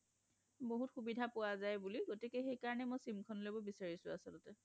বহুত সুবিধা পোৱা যায় বুলি গতিকে সেইকাৰণে মই sim খন লব বিচাৰিছোঁ আচলতে